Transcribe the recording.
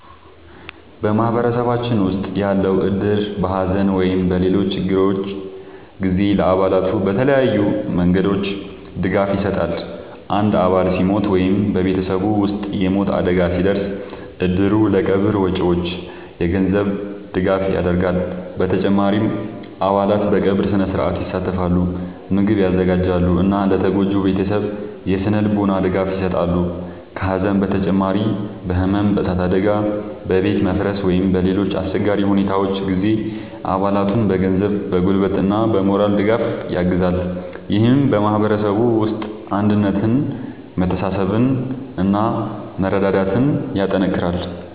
በማህበረሰባችን ውስጥ ያለው እድር በሐዘን ወይም በሌሎች ችግሮች ጊዜ ለአባላቱ በተለያዩ መንገዶች ድጋፍ ይሰጣል። አንድ አባል ሲሞት ወይም በቤተሰቡ ውስጥ የሞት አደጋ ሲደርስ፣ እድሩ ለቀብር ወጪዎች የገንዘብ ድጋፍ ያደርጋል። በተጨማሪም አባላት በቀብር ሥነ-ሥርዓት ይሳተፋሉ፣ ምግብ ያዘጋጃሉ እና ለተጎጂው ቤተሰብ የሥነ-ልቦና ድጋፍ ይሰጣሉ። ከሐዘን በተጨማሪ በሕመም፣ በእሳት አደጋ፣ በቤት መፍረስ ወይም በሌሎች አስቸጋሪ ሁኔታዎች ጊዜም አባላቱን በገንዘብ፣ በጉልበት እና በሞራል ድጋፍ ያግዛል። ይህም በማህበረሰቡ ውስጥ አንድነትን፣ መተሳሰብን እና መረዳዳትን ያጠናክራል።